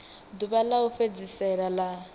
ḓuvha ḽa u fhedzisela ḽa